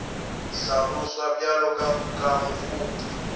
hlaloswa bjalo ka kukamo go